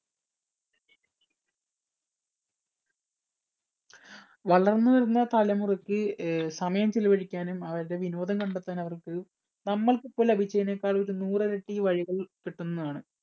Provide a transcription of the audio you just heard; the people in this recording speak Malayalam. വളർന്നുവരുന്ന തലമുറയ്ക്ക് അഹ് സമയം ചെലവഴിക്കാനും അവരുടെ വിനോദം കണ്ടെത്താനും അവർക്ക് നമ്മുക്ക് ഇപ്പൊ ലഭിച്ചതിനേക്കാള്‍ ഒരു നൂറ് ഇരട്ടി വഴികൾ കിട്ടുന്നതാണ്.